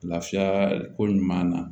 Lafiya ko ɲuman na